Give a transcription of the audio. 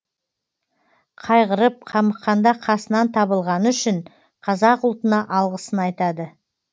қайғырып қамыққанда қасынан табылғаны үшін қазақ ұлтына алғысын айтады